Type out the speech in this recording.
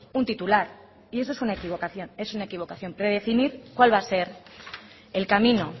un titular y eso es una equivocación es una equivocación predefinir cuál va a ser el camino